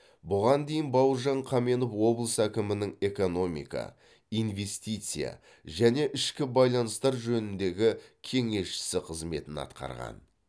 бұған дейін бауыржан қаменов облыс әкімінің экономика инвестиция және ішкі байланыстар жөніндегі кеңесшісі қызметін атқарған